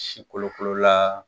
Si kolokolola